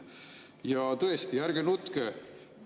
Ja tõesti, ärge nutke.